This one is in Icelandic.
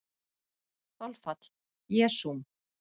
Þolfall: Jesúm